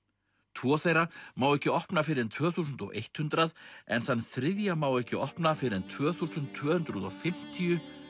tvo þeirra má ekki opna fyrr en tvö þúsund hundrað en þann þriðja má ekki opna fyrr en tvö þúsund tvö hundruð og fimmtíu